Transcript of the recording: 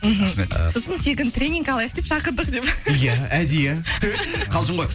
мхм рахмет сосын тегін тренинг алайық деп шақырдық деп ия әдейі қалжың ғой